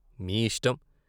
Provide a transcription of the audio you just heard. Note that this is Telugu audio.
మీ యిష్టం.